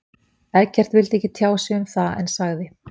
Eggert vildi ekki tjá sig um það en sagði.